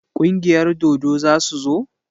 Kungiyar dodo za su zo?